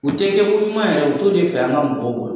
U te yɛrɛ, u t'o de fɛ an ka mɔgɔw bolo.